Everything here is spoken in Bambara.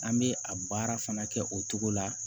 An bɛ a baara fana kɛ o cogo la